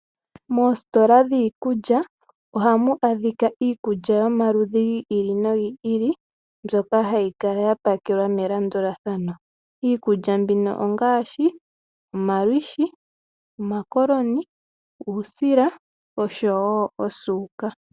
Moositola dhiikulya ohamu adhika iikulya yomaludhi gi ili nogi ili mbyoka hayi kala ya pakelwa melandulathano. Iikulya mbino ongaashi, omalwishi, omakoloni, uusila oshowo osuuka.